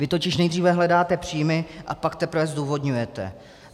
Vy totiž nejdříve hledáte příjmy, a pak teprve zdůvodňujete.